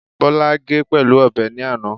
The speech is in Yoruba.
Bọ́lá ge pẹ̀lú ọ̀bẹ ní àná